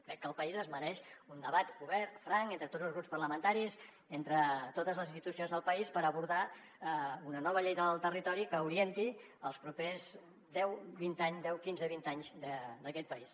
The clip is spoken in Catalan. crec que el país es mereix un debat obert franc entre tots els grups parlamentaris entre totes les institucions del país per abordar una nova llei del territori que orienti els propers deu quinze vint anys d’aquest país